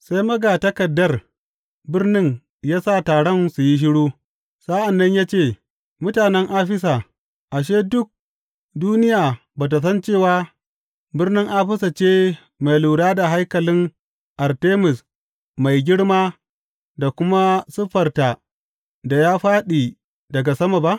Sai magatakardar birnin ya sa taron su yi shiru, sa’an nan ya ce, Mutanen Afisa, ashe duk duniya ba tă san cewa birnin Afisa ce mai lura da haikalin Artemis mai girma da kuma siffarta da ya fāɗi daga sama ba?